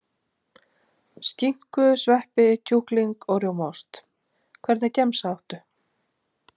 Skinku sveppi kjúkling og rjómaost Hvernig gemsa áttu?